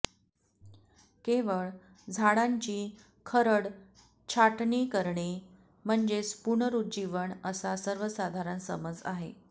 केवळ झाडांची खरड छाटणी करणे म्हणजेच पुनरुज्जीवन असा सर्वसाधारण समज आहे